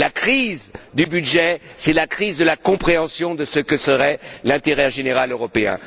La crise du budget, c'est la crise de la compréhension de ce que serait l'intérêt général européen.